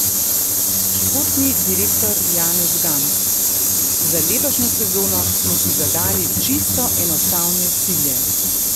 Športni direktor Janez Gams: "Za letošnjo sezono smo si zadali čisto enostavne cilje.